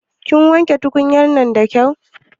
Kin wanke tukunya'nan da kyau?